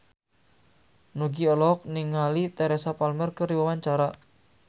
Nugie olohok ningali Teresa Palmer keur diwawancara